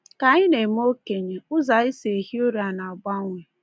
Ka anyị na-eme okenye, ụzọ anyị si ehi ụra na-agbanwe.